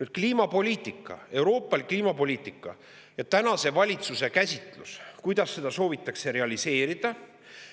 Nüüd, kliimapoliitika, euroopalik kliimapoliitika ja tänase valitsuse käsitlus, kuidas seda soovitakse realiseerida